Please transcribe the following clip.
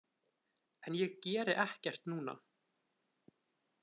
En ég geri ekkert núna.